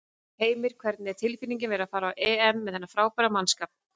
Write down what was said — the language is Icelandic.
Heimir: Hvernig er tilfinningin að vera að fara á EM með þennan frábæra mannskap?